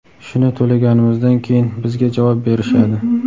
Shuni to‘laganimizdan keyin bizga javob berishadi.